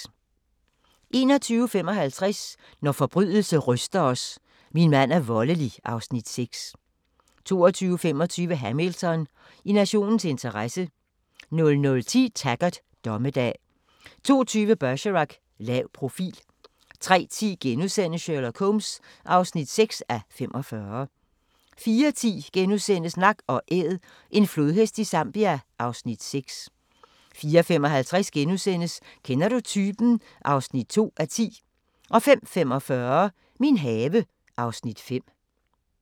21:55: Når forbrydelse ryster os: Min mand er voldelig (Afs. 6) 22:25: Hamilton: I nationens interesse 00:10: Taggart: Dommedag 02:20: Bergerac: Lav profil 03:10: Sherlock Holmes (6:45)* 04:10: Nak & Æd – en flodhest i Zambia (Afs. 6)* 04:55: Kender du typen? (2:10)* 05:45: Min have (Afs. 5)